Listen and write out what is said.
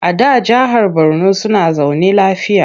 A da jahar Borno suna zaune lafiya.